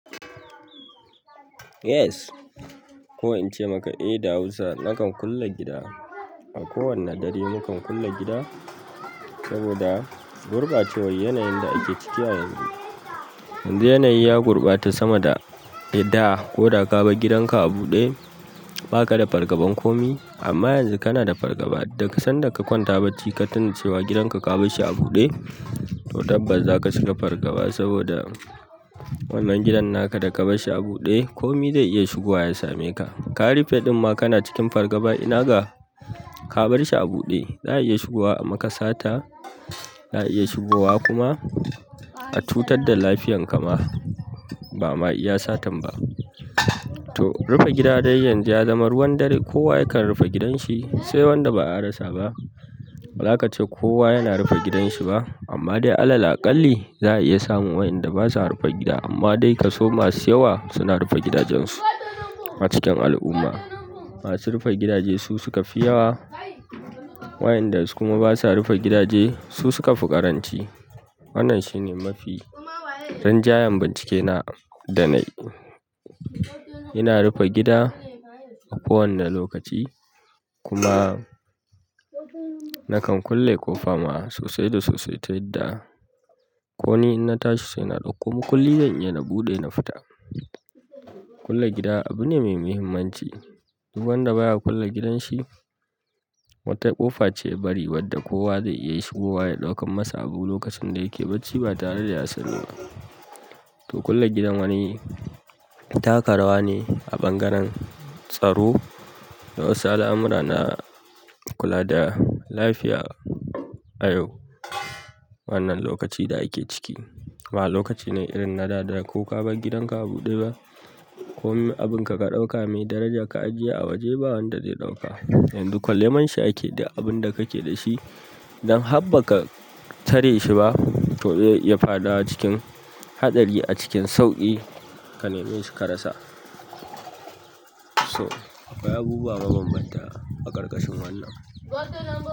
Yes. Ko in ce maka eh da Hausa, nakan kulle gida. A kowane dare mukan kulle gida, saboda gurɓacewar yana yin da ake ciki a yanzu. Yanzu yana yi ya gurɓata sama da ida ko da ka bar gidan ka a buɗe, ba ka da fargabar komi. Amma yanzu kana da fargaba daga sanda ka kwanta baci ka tuna cewa gidan ka ka bar shi a buɗe, to tabbas za ka cika fargaba saboda wannan gidan naka da ka bar shi a buɗe, komi zai iya shigowa ya same ka. Ka rufe ɗin ma kana cikin fargaba ina ga ka bar shi a buɗe, za a iya shigowa a maka sata, za a iya shigowa kuma a cutar da lafiyan ka ma. Ba ma iya satan ba. To, rufe gida dai yanzu ya zama ruwan dare. Kowa yakan rufe gidan shi, sai wanda ba ya rasa ba. Baza kace kowa yana rufe gidan shi ba. Amma dai alal akalli, za a iya samun waƴnda ba sa rufe gida. Amma dai ka so masu yawa suna rufe gidajensu a cikin al'umma. Masu rufe gidaje su suka fi yawa. Waƴanda kuma iya rufe gidaje su suka fi ƙaranci. Wannan shi ne mafi rin jayayyen bincike na da na yi. Ina rufe gida a kowane lokaci kuma nakan kulle ƙofa ma sosai da sosai ta yadda ko ni ina tashi sai na ɗauko makulli dai ina buɗe ina fita. Kulle gida abu ne mai muhimmanci. Duk wanda baya kulle gidan shi, wata ƙofa ce ya bari wadda kowa zai iya shigowa ya ɗaukan masa abu lokacin da yake bacci ba tare da ya sani ba. To kulle gidan wani taka rawa ne a bangaren tsaro, da wasu al'amura na kula da lafiya a yau. Wannan lokaci da ake ciki, ba lokaci ne irin na da, da ko ka bar gidan ka abuɗe ba, komai abunka ka ɗauka mai daraja ka a jiye a waje, ba wanda zai ɗauka. Yanzu kalle man shi ake duk abun da kake da shi. Idan har ba ka tare shi ba, to zai iya faɗawa cikin haɗari a cikin sauƙi. Ka nemi su karasa. To akwai abubuwa mabambanta a ƙarƙashin wannan.